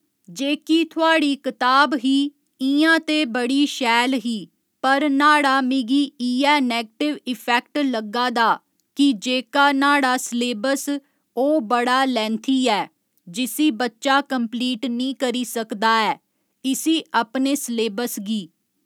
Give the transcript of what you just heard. जेह्की थुआढ़ी कताब ही इयां ते बड़ी शैल ही पर न्हाड़ा मिगी इयै नैगटिव इफैक्ट लग्गा दा कि जेह्का न्हाड़ा सलेबस ओह् बड़ा लैंथी ऐ जिसी बच्चा कंपलीट निं करी सकदा ऐ इसी अपने सलेबस गी